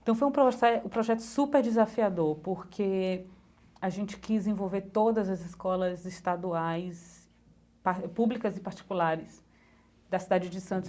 Então foi um profe um projeto super desafiador porque a gente quis envolver todas as escolas estaduais, públicas e particulares da cidade de Santos.